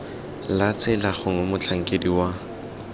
la tsela gongwe motlhankedi wa